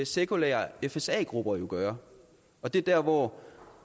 sekulære fsa grupper jo gøre og det er dér hvor